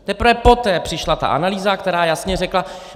Teprve poté přišla ta analýza, která jasně řekla...